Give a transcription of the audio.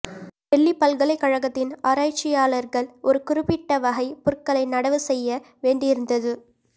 டெல்லி பல்கலைக்கழகத்தின் ஆராய்ச்சியாளர்கள் ஒரு குறிப்பிட்ட வகை புற்களை நடவு செய்ய வேண்டியிருந்தது